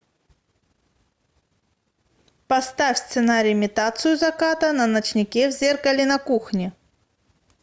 поставь сценарий имитацию заката на ночнике в зеркале на кухне